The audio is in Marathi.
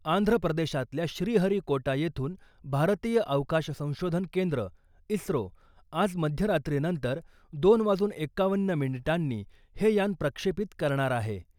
आंध्र प्रदेशातल्या श्रीहरिकोटा येथून भारतीय अवकाश संशोधन केंद्र इस्रो आज मध्यरात्रीनंतर दोन वाजून एक्कावन्न मिनिटांनी हे यान प्रक्षेपित करणार आहे.